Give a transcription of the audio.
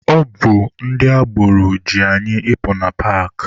Ọ bụ ndị agboro ji anyị ịpụ na paakị.